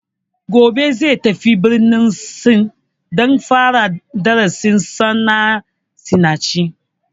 Gobe zai tafi birnin sin don fara darasin sa na sinanci